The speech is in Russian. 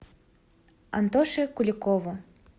антоше куликову